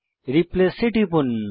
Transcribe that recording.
replace এ টিপুন